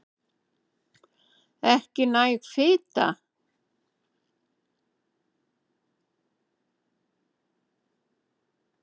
Ekki næg fita